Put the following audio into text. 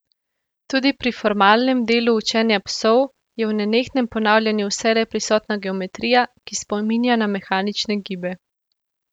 Tudi pri formalnem delu učenja psov je v nenehnem ponavljanju vselej prisotna geometrija, ki spominja na mehanične gibe.